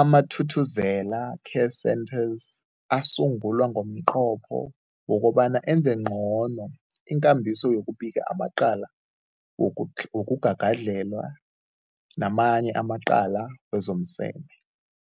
AmaThuthuzela Care Centres asungulwa ngomnqopho wokobana enze ngcono ikambiso yokubika amacala woku wokugagadlhela namanye amacala wezomseme.